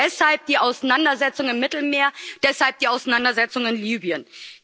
Deshalb die Auseinandersetzung im Mittelmeer, deshalb die Auseinandersetzung in Libyen.